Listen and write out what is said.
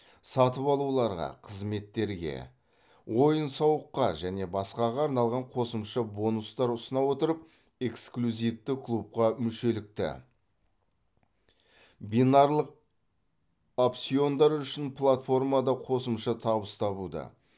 сатып алуларға қызметтерге ойын сауыққа және басқаға арналған қосымша бонустар ұсына отырып эксклюзивті клубқа мүшелікті бинарлық опциондар үшін платформада қосымша табыс табуды